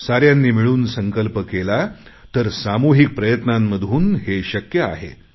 साऱ्यांनी मिळून संकल्प केला तर सामुहिक प्रयत्नांमधून हे शक्य आहे